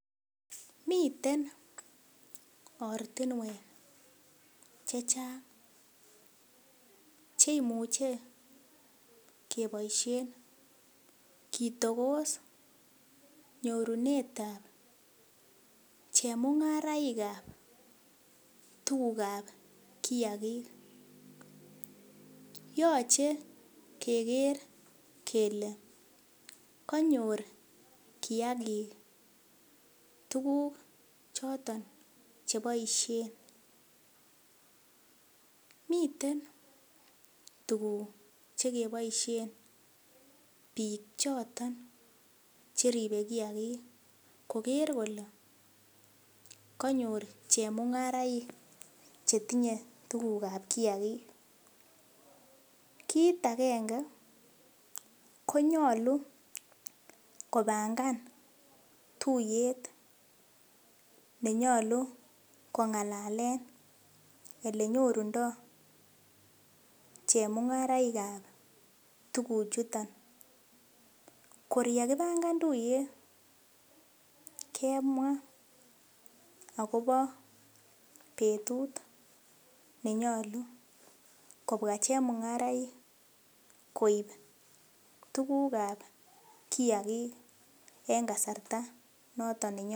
Miten ortinuek che chang cheimuche keboisien kitogos nyorunetab chemungaraikab tugukab kiagik. Yoche keger kele kanyor kiagik tuguk choton cheboisien. Miten tuguk chekeboisien biik choton che ribe kiagik koger kole kanyor chemungaraik chetinye tugukab kiagik. Kit agenge ko nyalu kopangan tuiyet ne nyalu kongalalen elenyorundo chemungaraikab tuguchuton. Kor yekipangan tuiyet kemwa agobo betut nenyalu kobwa chemungaraik koip tugukab kiagik en kasarta noton.